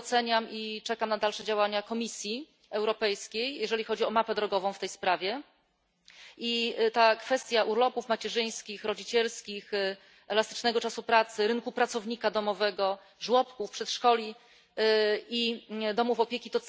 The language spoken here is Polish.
Bardzo doceniam i czekam na dalsze działania Komisji Europejskiej, jeżeli chodzi o mapę drogową w tej sprawie. Cały czas aktualna jest również kwestia urlopów macierzyńskich, rodzicielskich, elastycznego czasu pracy, rynku pracownika domowego, żłobków, przedszkoli i domów opieki.